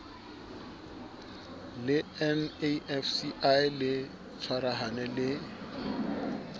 le nafci le tshwarahane le